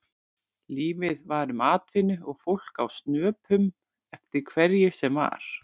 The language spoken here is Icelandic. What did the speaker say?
Lítið var um atvinnu og fólk á snöpum eftir hverju sem var.